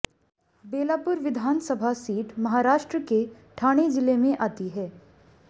बेलापुर विधानसभा सीट महाराष्ट्रके ठाणे जिले में आती है